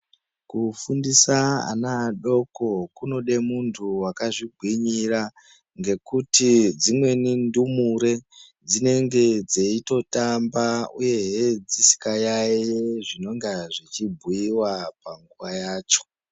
Kufundisa ana adoko kunode muntu wakazvigwinyira. Ngekuti dzimweni ndumure dzinenge dzeitotamba uyehe dzisikayayeyi zvinonga zvichibhuiwa panguva yacho.